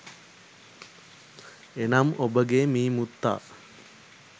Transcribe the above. එනම් ඔබගේ මී මුත්තා